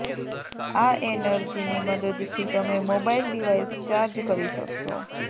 આ એનર્જીની મદદથી તમે મોબાઈલ ડિવાઈસ ચાર્જ કરી શકશો